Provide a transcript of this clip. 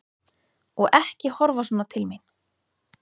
Og ekki horfa svona til mín!